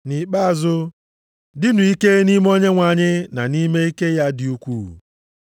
Nʼikpeazụ, dịnụ ike nʼime Onyenwe anyị na nʼime ike ya dị ukwuu.